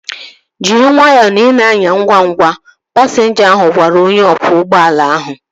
Jiri nwayọọ na ị na-anya ngwa ngwa! Pasinja ahu gwara onye ọkwọ ụgbọala ahu